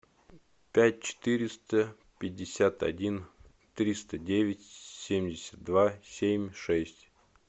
пять четыреста пятьдесят один триста девять семьдесят два семь шесть